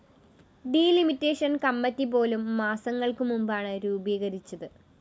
D limitation committee പോലും മാസങ്ങള്‍ക്കു മുമ്പാണ് രൂപീകരിച്ചത്